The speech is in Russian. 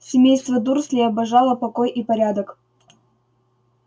семейство дурслей обожало покой и порядок